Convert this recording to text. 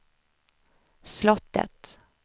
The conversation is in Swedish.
slottet